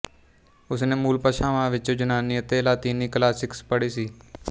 ਉਸ ਨੇ ਮੂਲ ਭਾਸ਼ਾਵਾਂ ਵਿੱਚ ਯੂਨਾਨੀ ਅਤੇ ਲਾਤੀਨੀ ਕਲਾਸਿਕਸ ਪੜ੍ਹੇ ਸੀ